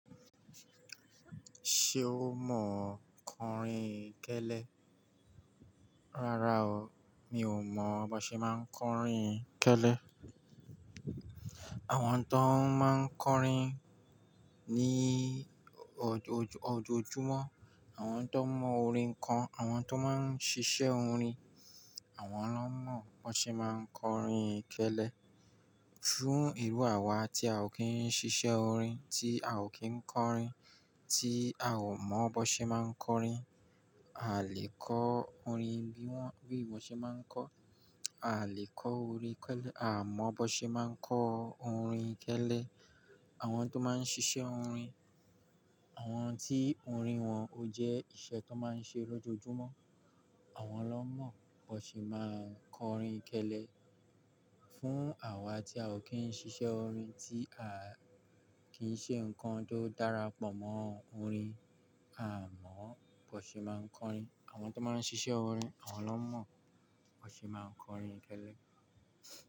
Ṣé o mọ kọrin kélé? Rárá o, mi ò mọ bó ṣe máa ń kọrin kélé. Àwọn tó máa ń kọrin ní ojoojúmọ́, àwọn tó mọ orin kan, àwọn tó máa ń ṣiṣẹ́ orin, àwọn ló mọ bó ṣe máa ń kọrin kélé. Júù irú àwa tí a ò kí ń ṣiṣẹ́ orin, tí a ò kí ń kọrin, tí a ò mọ bó ṣe máa ń kọrin, a lè kọ orin bí wọ́n, bí won ṣe máa ń kọ. A lè kọ orin kélé, a mọ bó ṣe máa ń kọ orin kélé. Àwọn tó máa ń ṣiṣẹ́ orin, àwọn tí orin wọn ó jẹ́ iṣẹ́ tó máa ń ṣe lójoojúmọ́, àwọn ló mọ bó ṣe máa ń kọrin kélé. Fún àwa tí a ò kí ń ṣiṣẹ́ orin, tí a kì í ṣe nǹkan tó dára pọ̀ mọ́ orin, a mọ bó ṣe máa ń kọrin. Àwọn tó máa ń ṣiṣẹ́ orin, àwọn ló mọ bó ṣe máa ń kọrin kélé.